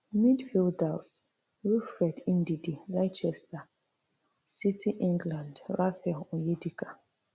midfielders wilfred ndidi leicester city england raphael onyedika